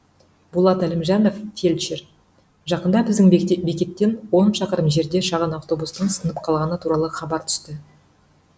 болат әлімжанов фельдшер жақында біздің бекеттен он шақырым жерде шағын автобустың сынып қалғаны туралы хабар түсті